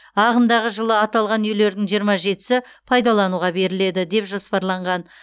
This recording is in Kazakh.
ағымдағы жылы аталған үйлердің жиырма жетісі пайдалануға беріледі деп жоспарланған